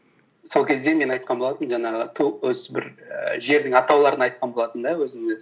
сол кезде мен айтқан болатынмын жаңағы ту осы бір ііі жердің атауларын айтқан болатынмын да